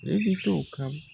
Ne bɛ to o kan